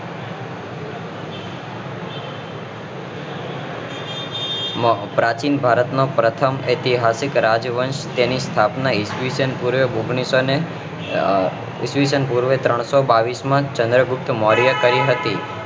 પ્રાચીન ભારત માં પ્રથમ એતિહાસિક રાજ્યવંશ ની તેની સ્થાપના ઈસ્વીસન પૂર્વે ઓન્ગ્લીસો ને આહ ઈસ્વીસન પૂર્વે ઓન્ગ્લીસો ને બાવીસ માં ચંદ્રગુપ્તે કરી હતી